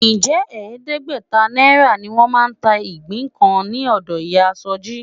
Ǹjẹ́ ẹ̀ẹ́dẹ́gbẹ̀ta náírà ni wọ́n máa ta igbin kan lọ́dọ̀ ìyá Sọjí?